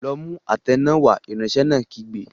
Lọ mú àtẹ náà wá! Ìránṣẹ́ náà kígbe.